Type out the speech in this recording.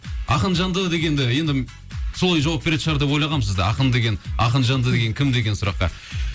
ақын жанды дегенде енді солай жауап беретін шығар деп ойлағам сізді ақын деген ақын жанды деген кім деген сұраққа